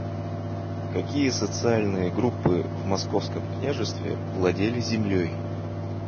какие социальные группы в московском княжестве владели землей